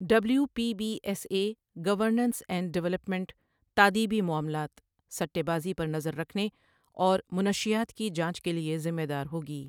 W P B S A governance and development تادیبی معاملات، سٹے بازی پر نظر رکھنے، اور منشیات کی جانچ کے لیے ذمہ دار ہوگی۔